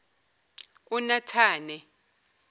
unatane